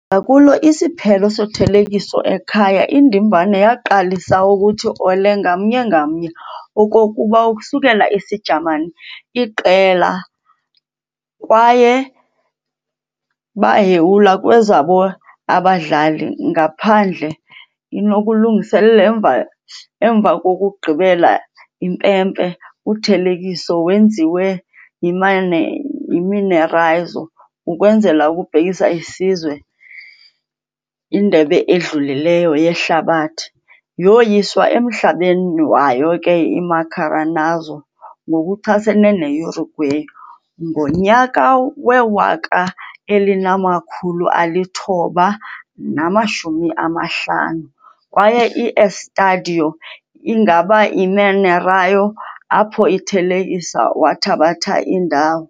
Ngakulo isiphelo sothelekiso, ekhaya indimbane waqalisa ukuthi "olé" ngamnye ngamnye okokuba ukusukela isijamani iqela, kwaye baheyula kwezabo abadlali ngaphandle i-nokulungiselela emva kokugqibela impempe. uthelekiso wenziwe yi-"Mineirazo", ukwenzela ukubhekisa isizwe Indebe edlulileyo Yehlabathi yoyiswa emhlabeni wayo ke i-Maracanazo ngokuchasene ne-Uruguay ngonyaka we-1950, kwaye i-Estádio ingaba i-Mineirão apho ithelekisa wathabatha indawo.